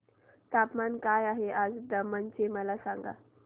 तापमान काय आहे आज दमण चे मला सांगा